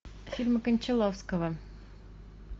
фильмы кончаловского